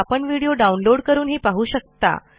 आपण तो download160 करूनही पाहू शकता